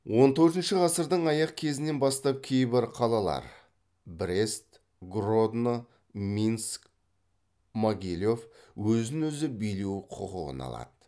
он төртінші ғасырдың аяқ кезінен бастап кейбір қалалар өзін өзі билеу құқығын алады